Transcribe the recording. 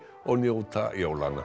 og njóta jólanna